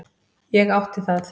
Ég átti það.